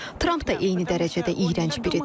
Tramp da eyni dərəcədə iyrənc biridir.